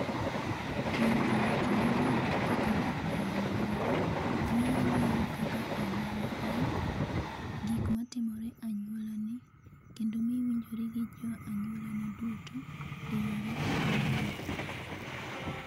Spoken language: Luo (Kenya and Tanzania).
Winjo weche manyien kokalo e anyuola mingo kaka anyuola en ,gik matimore e anyuola ni kendo miyo iwinjori gi jo anyuolani duto e yore mabeyo.